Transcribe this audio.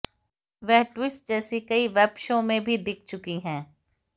वह ट्विस्ट जैसी कई वेब शो में भी दिख चुकी हैं